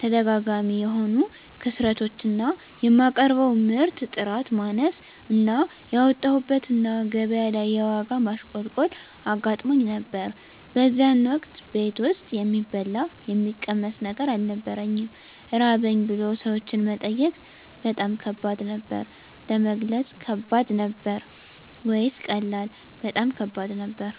ተደጋጋሚ የሆኑ ክስረቶች እና የማቀርበው ምርት ጥራት ማነስ እና ያወጣሁበት እና ገቢያ ላይ የዋጋ ማሽቆልቆል አጋጥሞኝ ነበር በዚያን ወቅት ቤት ውስጥ የሚበላ የሚቀመስ ነገር አልነበረኝም ራበኝ ብሎ ሰዎችን መጠየቅ በጣም ከባድ ነበር። ለመግለጽ ከባድ ነበር ወይስ ቀላል? በጣም ከባድ ነበር